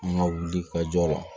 An ka wuli ka jɔ la